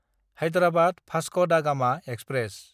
Hyderabad Vasco da Gama express